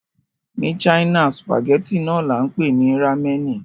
Ní China, sùpàgẹ́tì náà là ń pè ní Rámẹ̀nì